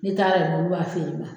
N'i taara b'a fee yen ma.